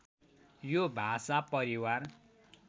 यो भाषा परिवार